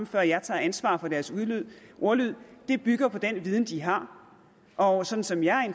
før jeg tager ansvaret for deres ordlyd bygger på den viden de har og sådan som jeg